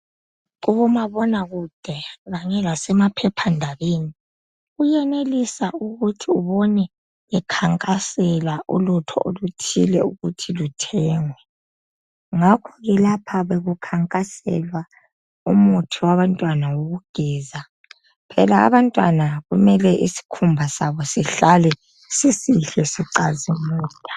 Kubomabonakude lasemaphephandabeni kuyenelisa ukuthi ubone bekhankasela ulutho oluthile ukuthi luthengwe. Ngakhoke lapha bekukhankaselwa umuthi wabantwana wokugeza phela abantwana isikhumba sabo mele sihlale sisihle sicazimula.